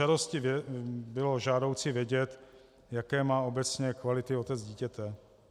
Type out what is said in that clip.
Asi by bylo žádoucí vědět, jaké má obecně kvality otec dítěte.